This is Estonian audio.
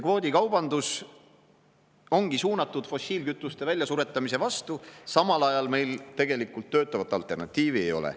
Kvoodikaubandus ongi suunatud fossiilkütuste väljasuretamise vastu, samal ajal meil aga tegelikult töötavat alternatiivi ei ole.